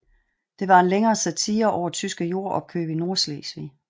Det var en længere satire over tyske jordopkøb i Nordslesvig